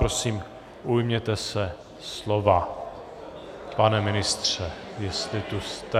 Prosím, ujměte se slova, pane ministře, jestli tu jste.